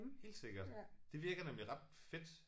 Helt sikkert det virker nemlig ret fedt